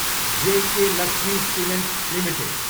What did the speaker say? JK Lakshmi cement Ltd